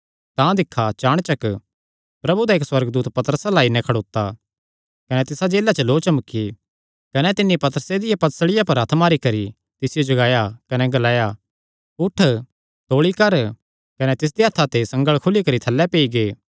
तां दिक्खा चाणचक प्रभु दा इक्क सुअर्गदूत पतरसे अल्ल आई खड़ोता कने तिसा जेला च लौ चमकी कने तिन्नी पतरसे दिया पसलिया पर हत्थ मारी करी तिसियो जगाया कने ग्लाया उठ तौल़ी कर कने तिसदेयां हत्थां ते संगल़ खुली करी थल्लैं पेई गै